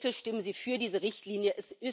Bitte stimmen Sie für diese Richtlinie!